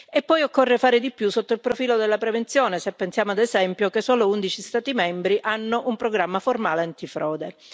E poi occorre fare di più, sotto il profilo della prevenzione, se pensiamo, ad esempio, che solo 11 Stati membri hanno un programma formale antifrode.